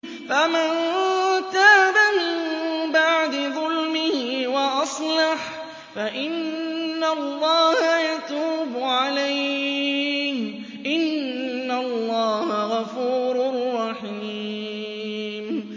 فَمَن تَابَ مِن بَعْدِ ظُلْمِهِ وَأَصْلَحَ فَإِنَّ اللَّهَ يَتُوبُ عَلَيْهِ ۗ إِنَّ اللَّهَ غَفُورٌ رَّحِيمٌ